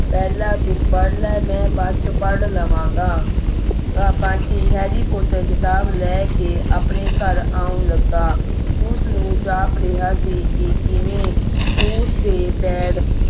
ਪਹਿਲਾਂ ਤੂੰ ਪੜ੍ਹ ਲੈ ਮੈਂ ਬਾਜ ਦੇ ਵਿਚ ਪੜ੍ਹ ਲਵਾਂਗਾ ਬੰਟੀ harry porter ਖਿਤਾਬ ਲੈ ਕੇ ਆਪਣੇ ਘਰ ਆਉਣ ਲੱਗਾ ਉਸ ਨੂੰ ਜਾਪ ਰਿਹਾ ਸੀ ਕੀ ਕਿਵੇਂ ਉਸ ਦੇ ਪੈਰ